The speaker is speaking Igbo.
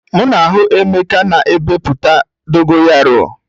M na-ahụ emeka na epupụta dogo yaro.